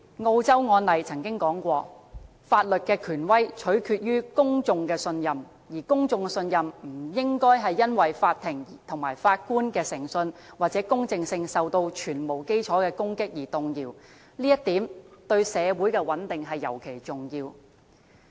澳洲曾有案例指出，法律的權威取決於公眾的信任，而公眾的信任不應該因為法庭和法官的誠信或公正性受到全面基礎的攻擊而動搖，這一點對社會的穩定尤為重要。